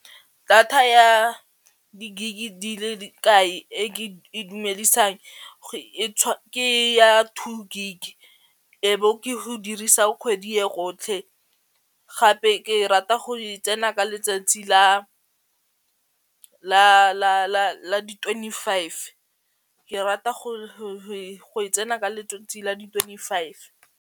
Data ya di-gig di le di kae e ke e itumedisang ke ya two gig e bo ke go dirisa kgwedi ya rotlhe gape ke rata go e tsena ka letsatsi la di-twenty-five ke rata go e tsena ka letsatsi la di-twenty-five.